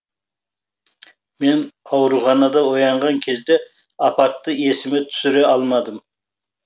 мен ауруханада оянған кезде апатты есіме түсіре алмадым